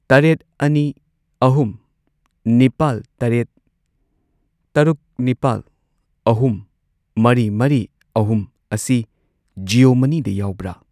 ꯇꯔꯦꯠ, ꯑꯅꯤ, ꯑꯍꯨꯝ, ꯅꯤꯄꯥꯜ, ꯇꯔꯦꯠ, ꯇꯔꯨꯛ, ꯅꯤꯄꯥꯜ, ꯑꯍꯨꯝ, ꯃꯔꯤ, ꯃꯔꯤ, ꯑꯍꯨꯝ ꯑꯁꯤ ꯖꯤꯑꯣ ꯃꯅꯤꯗ ꯌꯥꯎꯕ꯭ꯔꯥ?